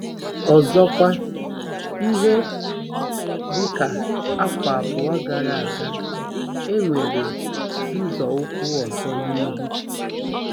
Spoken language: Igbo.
Ọzọkwa, ihe dị ka afọ abụọ gara aga, e nwere nzọụkwụ ọzọ n'ihu.